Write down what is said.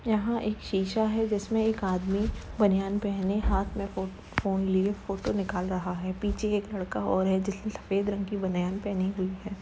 यहाँ एक शीशा है। जिसमें एक आदमी बनियान पहने हाथ में फ़ो फोन लिए फोटो निकाल रहा है। पीछे एक लड़का और है जिसने सफेद रंग की बनियान पहनी हुई है।